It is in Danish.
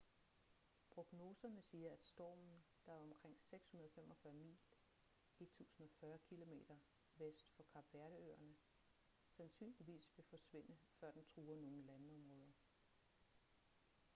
prognoserne siger at stormen der er omkring 645 mil 1040 km vest for kap verde-øerne sandsynligvis vil forsvinde før den truer nogen landområder